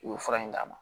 U ye fura in d'a ma